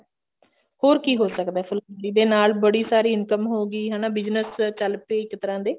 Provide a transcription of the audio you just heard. ਹੋਰ ਕਿ ਹੋ ਸਕਦਾ ਫੁਲਕਾਰੀ ਦੇ ਨਾਲ ਬੜੀ ਸਾਰੀ income ਹੋਏਗੀ ਹਨਾ business ਚੱਲ ਪਏ ਇੱਕ ਤਰ੍ਹਾਂ ਦੇ